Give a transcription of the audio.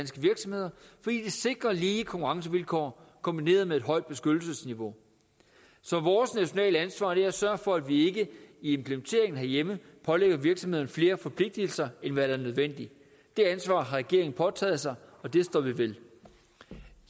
sikrer lige konkurrencevilkår kombineret med et højt beskyttelsesniveau så vores nationale ansvar er at sørge for at vi ikke i implementeringen herhjemme pålægger virksomhederne flere forpligtelser end hvad der er nødvendigt det ansvar har regeringen påtaget sig og det står vi ved